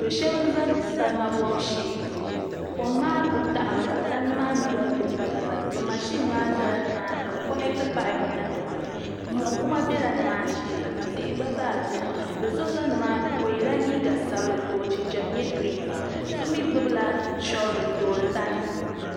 Do shab n bɛ salima gbibu shee kom maa ku daɣami ka tandi maa mii gba ku nyɛ batibati bi mashin nimaani ka bi konɛti paaip niŋ di puuni mo kuma biɛla nimaani shee ka tihi gba zaa biɛni do so ʒɛ nimaani o yɛla liiga sabinli ka o jinjɛm nyɛ giriin waan so mii gbunila shoovul n toori tandi